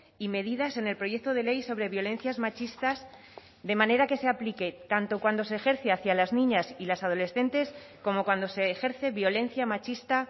y medidas en el proyecto de ley sobre violencias machistas de manera que se aplique tanto cuando se ejerce hacia las niñas y las adolescentes como cuando se ejerce violencia machista